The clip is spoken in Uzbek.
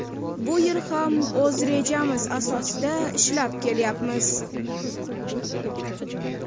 Bu yil ham o‘z rejamiz asosida ishlab kelyapmiz.